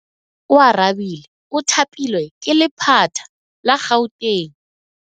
Oarabile o thapilwe ke lephata la Gauteng.